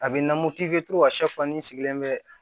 A bɛ na sigilen bɛ